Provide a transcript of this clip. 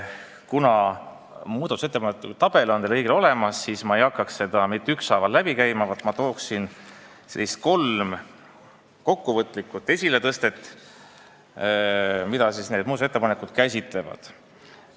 Kuna muudatusettepanekute tabel on teil kõigil olemas, siis ma ei hakka ettepanekuid mitte ükshaaval läbi käima, vaid teen kolm kokkuvõtlikku esiletõstet selle kohta, mida need muudatusettepanekud käsitlevad.